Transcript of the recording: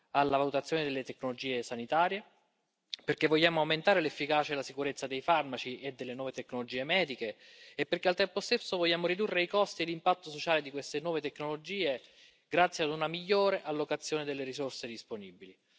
alla valutazione delle tecnologie sanitarie, perché vogliamo aumentare l'efficacia e la sicurezza dei farmaci e delle nuove tecnologie mediche, e perché al tempo stesso, vogliamo ridurre i costi e l'impatto sociale di queste nuove tecnologie, grazie ad una migliore allocazione delle risorse disponibili.